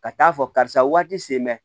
Ka taa fɔ karisa waati sen bɛ